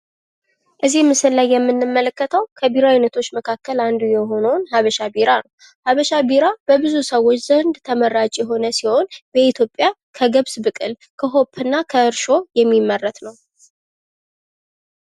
እዚህ ምስል ላይ የምንመለከተው ከቢራ አይነቶች መካከል አንዱ የሆነዉን ሃበሻ ቢራ ነው ፤ ሀበሻ ቢራ በብዙ ሰዎች ዘንድ ተመራጭ የሆነ ሲሆን ፤በኢትዮጵያ ከገብስ ብቅል፣ ከሆፕ፣ እና ከእርሾ የሚመረት ነው።